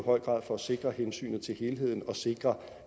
høj grad for at sikre hensynet til helheden og sikre